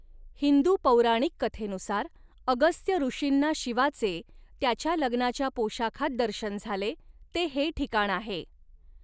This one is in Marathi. हिंदू पौराणिक कथेनुसार, अगस्त्य ऋषींना शिवाचे, त्याच्या लग्नाच्या पोशाखात दर्शन झाले, ते हे ठिकाण आहे.